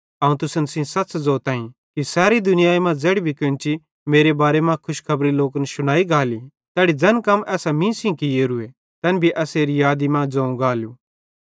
अवं तुसन सेइं सच़ ज़ोतईं कि सैरी दुनियाई मां ज़ेड़ी कोन्ची मेरे बारे मां खुशखबरी लोकन शुनाई गाली तैड़ी ज़ैन कम एसां मीं सेइं कियोरूए तैन भी एसेरी यादी मां ज़ोवं गालू